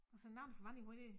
Og så nogen får vand i hovedet dér